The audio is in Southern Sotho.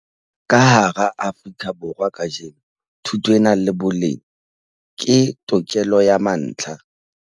Ka hara Afrika Borwa kajeno, thuto e nang le boleng ke tokelo ya mantlha.